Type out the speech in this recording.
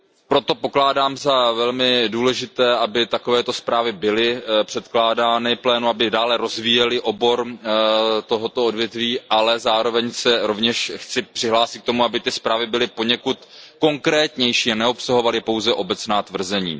Proto pokládám za velmi důležité, aby takovéto zprávy byly předkládány plénu, aby dále rozvíjely toto odvětví, ale zároveň se rovněž chci přihlásit k tomu, aby zprávy byly poněkud konkrétnější a neobsahovaly pouze obecná tvrzení.